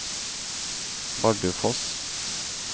Bardufoss